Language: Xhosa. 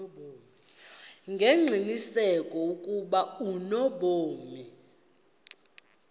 ngengqiniseko ukuba unobomi